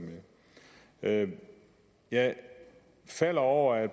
med jeg falder over at